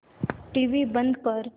TV बंद कर